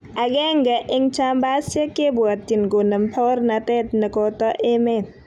Agenge eng jambasiek kebwotyin konem baornatet ne koto emet.